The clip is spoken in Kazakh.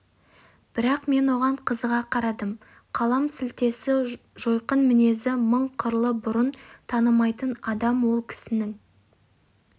бірақ мен оған қызыға қарадым қалам сілтесі жойқын мінезі мың қырлы бұрын танымайтын адам ол кісінің